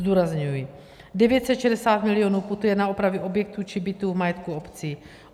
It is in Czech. Zdůrazňuji, 960 milionů putuje na opravy objektů či bytů v majetku obcí.